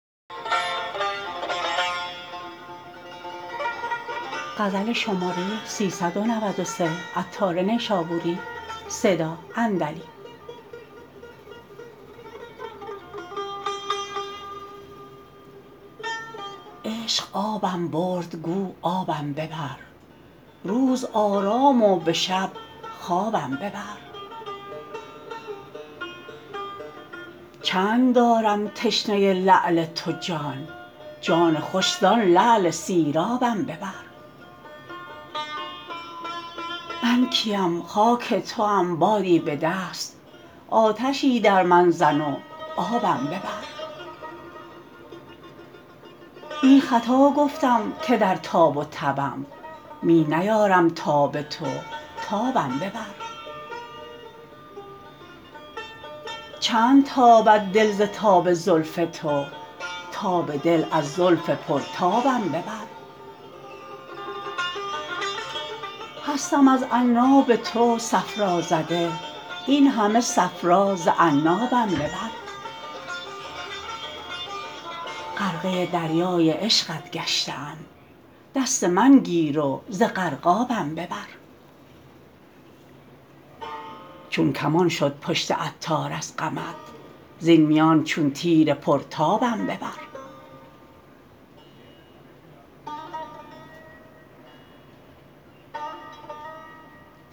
عشق آبم برد گو آبم ببر روز آرام و به شب خوابم ببر چند دارم تشنه لعل تو جان جان خوشی زان لعل سیرابم ببر من کیم خاک توام بادی به دست آتشی در من زن و آبم ببر نی خطا گفتم که در تاب و تبم می نیارم تاب تو تابم ببر چند تابد دل ز تاب زلف تو تاب دل از زلف پرتابم ببر هستم از عناب تو صفرا زده این همه صفرا ز عنابم ببر غرقه دریای عشقت گشته ام دست من گیر و ز غرقابم ببر چون کمان شد پشت عطار از غمت زین میان چون تیر پرتابم ببر